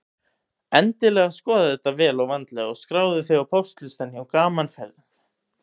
Endilega skoðaðu þetta vel og vandlega og skráðu þig á póstlistann hjá Gaman Ferðum.